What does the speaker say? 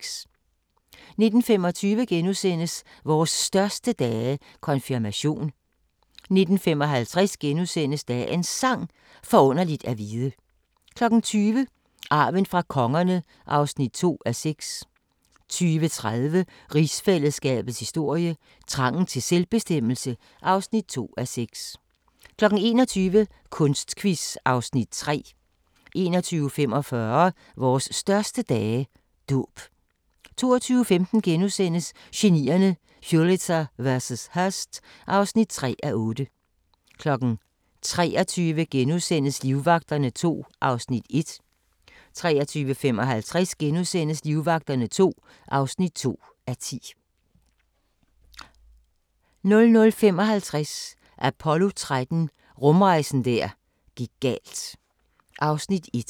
19:25: Vores største dage – Konfirmation * 19:55: Dagens Sang: Forunderligt at vide * 20:00: Arven fra kongerne (2:6) 20:30: Rigsfællesskabets historie: Trangen til selvbestemmelse (2:6) 21:00: Kunstquiz (Afs. 3) 21:45: Vores største dage – Dåb 22:15: Genierne: Pulitzer vs. Hearst (3:8)* 23:00: Livvagterne II (1:10)* 23:55: Livvagterne II (2:10)* 00:55: Apollo 13 – rumrejsen der gik galt (1:2)